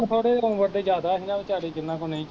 ਥੋੜੇ ਜਹੇ ਉਮਰ ਦੇ ਜ਼ਿਆਦਾ ਸੀ ਨਾ ਵਿਚਾਰੇ ਜਿਹਨਾਂ ਕੋਲ ਨਈ